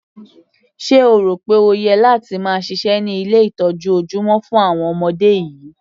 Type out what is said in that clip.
Sé o rò pé o yẹ láti máa ṣiṣẹ́ ní ilé ìtọ́jú ojúmọ́ fún àwọn ọmọdé yìí?